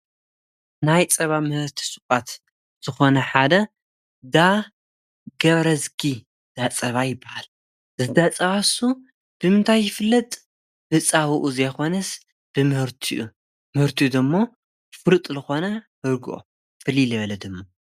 ናይ ፀባ ምህርቲ ሱቓት ዝኾነ ሓደ እንዳ ገብረዝጊ ዳፀባ ይበሃል። እቲ ዳፀባ ንሱ ብምንታይ ይፍለጥ ብፀብኡ ዘይኮነስ ብምህርትኡ ምህርትኡ ደሞ ፍሉጥ ዝኾነ ርጎኦ ፍልይ ዝበለ ድማ።